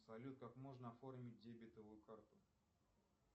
салют как можно оформить дебетовую карту